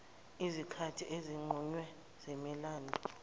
ezinkathini ezinqunyiwe zemilando